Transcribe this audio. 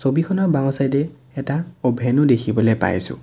ছবিখনৰ বাওঁ চাইড এ এটা অ'ভেন ও দেখিবলৈ পাইছোঁ।